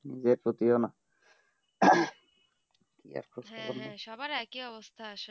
সবার এক ই অবস্থা আসলে